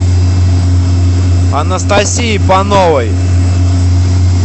анастасии пановой